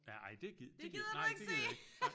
Ja ej det gid det gid nej det gider jeg ikke